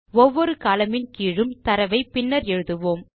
ஒவ்வொரு columnயின் கீழும் தரவை பின்னர் எழுதுவோம்